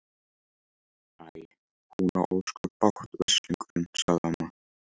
Æ, hún á ósköp bágt, veslingurinn sagði amma.